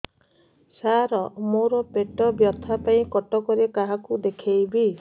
ସାର ମୋ ର ପେଟ ବ୍ୟଥା ପାଇଁ କଟକରେ କାହାକୁ ଦେଖେଇବି